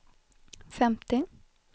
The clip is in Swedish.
femtio